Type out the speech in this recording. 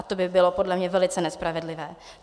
A to by bylo podle mě velice nespravedlivé.